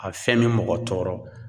A fiyɛn me mɔgɔ tɔɔrɔ